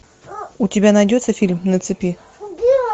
у тебя найдется фильм на цепи